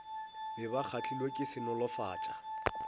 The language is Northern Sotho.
be ba kgahlilwe ke senolofatša